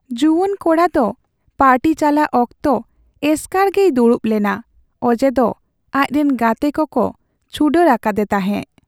ᱡᱩᱣᱟᱱ ᱠᱚᱲᱟ ᱫᱚ ᱯᱟᱨᱴᱤ ᱪᱟᱞᱟᱜ ᱚᱠᱛᱚ ᱮᱥᱠᱟᱨᱜᱮᱭ ᱫᱩᱲᱩᱵ ᱞᱮᱱᱟ ᱚᱡᱮᱫᱚ ᱟᱡ ᱨᱮᱱ ᱜᱟᱛᱮ ᱠᱚᱠᱚ ᱪᱷᱩᱰᱟᱹᱨ ᱟᱠᱟᱫᱮ ᱛᱟᱦᱮᱸ ᱾